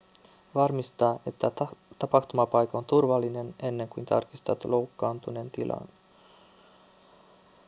varmista että tapahtumapaikka on turvallinen ennen kuin tarkistat loukkaantuneen tilan